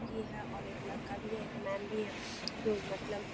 की है और एक लड़का भी है एक मैम भी है जो मतलब --